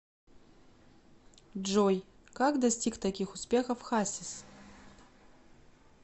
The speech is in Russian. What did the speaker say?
джой как достиг таких успехов хасис